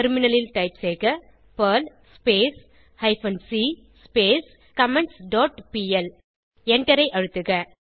டெர்மினலில் டைப் செய்க Perl hyphen C comments dot pl எண்டரை அழுத்துக